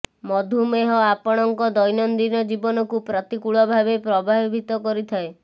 ମଧୁମେହ ଆପଣଙ୍କ ଦୈନନ୍ଦିନ ଜୀବନକୁ ପ୍ରତିକୂଳ ଭାବେ ପ୍ରଭାବିତ କରିଥାଏ